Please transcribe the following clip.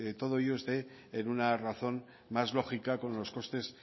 todo ello esté en una razón más lógica con los costes